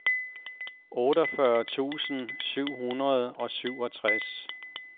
otteogfyrre tusind syv hundrede og syvogtres